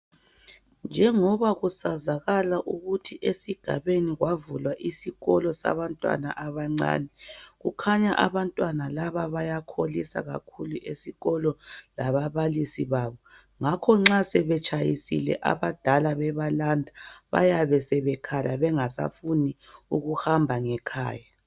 Njengoba kusazakala ukuthi esigabeni kwavulwa isikolo sabantwana abancane kukhanya abantwana laba bayakholisa kakhulu esikolo lababalisi babo ngakho nxa sebetshayisile abadala bebalanda bayabe sebekhala bengasafuni ukuhamba ngekhaya.